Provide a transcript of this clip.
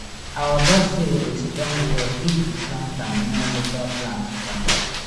our basil dey strong well if we plant am near local plant dem